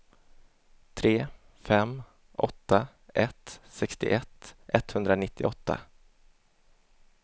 tre fem åtta ett sextioett etthundranittioåtta